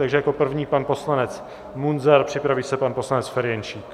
Takže jako první pan poslanec Munzar, připraví se pan poslanec Ferjenčík.